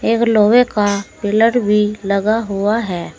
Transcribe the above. एक लोहे का पिलर भी लगा हुआ है।